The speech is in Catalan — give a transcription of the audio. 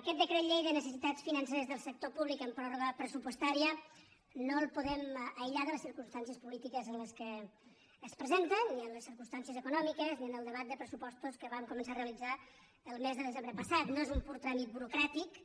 aquest decret llei de necessitats financeres del sector públic en pròrroga pressupostària no el po·dem aïllar de les circumstàncies polítiques en què es presenta ni de les circumstàncies econòmiques ni del debat de pressupostos que vam començar a realitzar el mes de desembre passat no és un pur tràmit burocrà·tic